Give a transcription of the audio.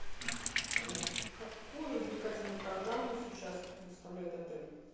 какую развлекательную программу сейчас предоставляет отель